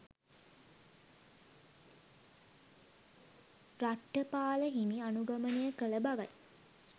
රට්ඨපාල හිමි අනුගමනය කළ බවයි